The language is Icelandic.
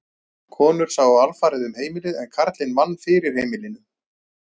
Konur sáu alfarið um heimilið en karlinn vann fyrir heimilinu.